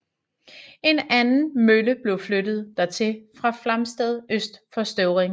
En anden mølle blev flyttet dertil fra Flamsted øst for Støvring